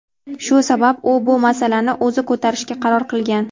Shu sabab u bu masalani o‘zi ko‘tarishga qaror qilgan.